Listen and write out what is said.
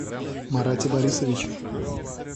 марате борисовиче